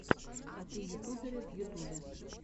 коты ютуберы в ютюбе